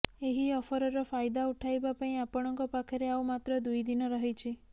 ଏହି ଅଫରର ଫାଇଦା ଉଠାଇବା ପାଇଁ ଆପଣଙ୍କ ପାଖରେ ଆଉ ମାତ୍ର ଦୁଇ ଦିନ ରହିଛି